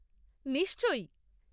নিশ্চয়ই!